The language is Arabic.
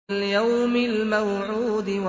وَالْيَوْمِ الْمَوْعُودِ